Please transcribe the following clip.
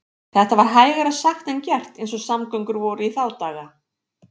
Þetta var hægara sagt en gert eins og samgöngur voru í þá daga.